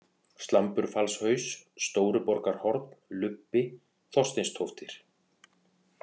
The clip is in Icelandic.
Slamburfallshaus, Stóruborgarhorn, Lubbi, Þorsteinstóftir